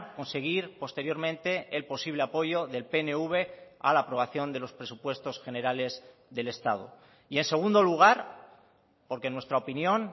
conseguir posteriormente el posible apoyo del pnv a la aprobación de los presupuestos generales del estado y en segundo lugar porque en nuestra opinión